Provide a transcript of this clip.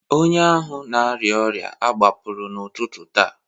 onye ahụ na-arịa ọrịa a gbapụrụ n'ụtụtụ taa